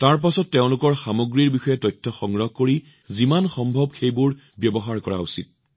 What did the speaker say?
আপোনালোকে তেওঁলোকৰ সামগ্ৰীৰ বিষয়ে তথ্য সংগ্ৰহ কৰা উচিত আৰু যিমান সম্ভৱ সেইবোৰ ব্যৱহাৰ কৰা উচিত